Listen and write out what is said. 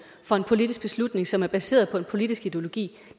for en politisk beslutning som er baseret på en politisk ideologi